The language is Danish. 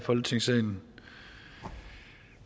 i folketingssalen